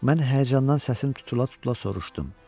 Mən həyəcandan səsim tutula-tutula soruşdum.